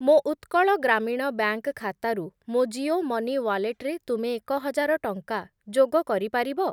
ମୋ ଉତ୍କଳ ଗ୍ରାମୀଣ ବ୍ୟାଙ୍କ୍‌ ଖାତାରୁ ମୋ ଜିଓ ମନି ୱାଲେଟ୍‌ରେ ତୁମେ ଏକହଜାର ଟଙ୍କା ଯୋଗ କରିପାରିବ?